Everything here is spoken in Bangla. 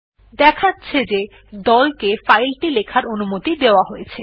দেখা যাচ্ছে যে দল কে ফাইল টি লেখার অনুমতি দেওয়া হয়েছে